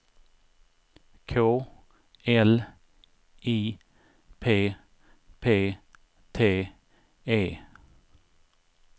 K L I P P T E